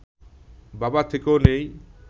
বাবা থেকেও নেই